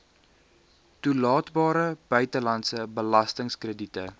toelaatbare buitelandse belastingkrediete